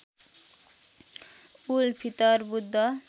उल Fitr Buddha